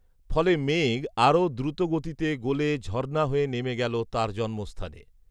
ফলে মেঘ আরও দ্রুতগতিতে গলে ঝরণা হয়ে নেমে গেল তার জন্মস্থানে